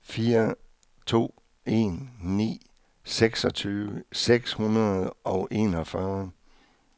fire to en ni seksogtyve seks hundrede og enogfyrre